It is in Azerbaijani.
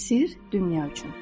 Sirr dünya üçün.